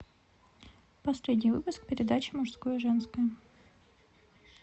последний выпуск передачи мужское женское